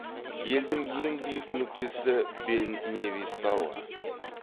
елдің ең биік нүктесі бен невис тауы